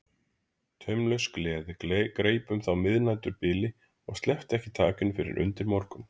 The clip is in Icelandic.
Taumlaus gleði greip þá um miðnæturbilið og sleppti ekki takinu fyrr en undir morgun.